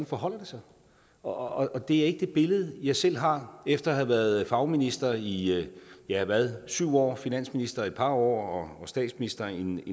forholder sig og og det er ikke det billede jeg selv har efter at have været fagminister i ja hvad syv år finansminister i et par år og statsminister i en